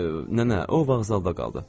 Nənə, o vağzalda qaldı.